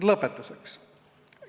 Lõpetuseks.